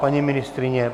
Paní ministryně?